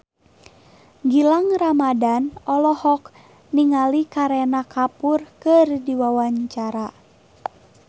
Gilang Ramadan olohok ningali Kareena Kapoor keur diwawancara